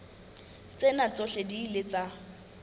tsena tsohle di ile tsa